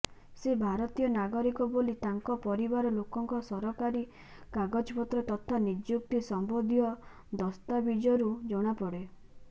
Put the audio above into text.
ସେ ଭାରତୀୟ ନାଗରିକ ବୋଲି ତାଙ୍କ ପରିବାର ଲୋକଙ୍କ ସରକାରୀ କାଗଜପତ୍ର ତଥା ନିଯୁକ୍ତି ସମ୍ବନ୍ଧୀୟ ଦସ୍ତାବିଜରୁ ଜଣାପଡେ